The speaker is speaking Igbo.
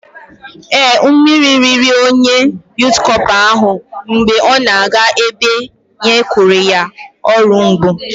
Ee, mmiri riri onye Yụt Cọpa ahụ mgbe ọ na-aga ebe e kenyere ya ọrụ mbụ